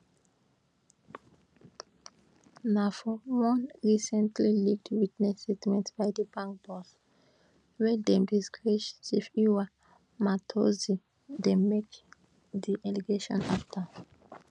na for one recently leaked witness statement by di bank boss wey dem disgrace tshifhiwa matodzi dem make di allegation afta